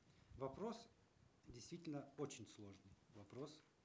вопрос действительно очень сложный вопрос